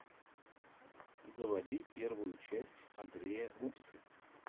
заводи первую часть андрея гупсы